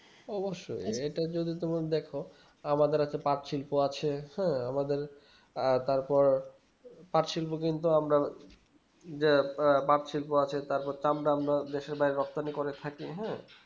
অবশ্যই এটা যদি তোমার দেখো আমাদের একটা পাঠ শিল্প আছে হ্যাঁ আর তারপর পাঠ শিল্প কিন্তু আমরা যে আহ পাঠ শিল্প আছে তারপর দেশের বাইরে রপ্তানি করে থাকে